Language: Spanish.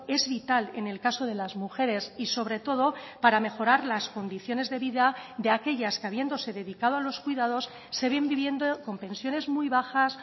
es vital en el caso de las mujeres y sobre todo para mejorar las condiciones de vida de aquellas que habiéndose dedicado a los cuidados se ven viviendo con pensiones muy bajas